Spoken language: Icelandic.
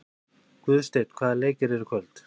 Guðsteinn, hvaða leikir eru í kvöld?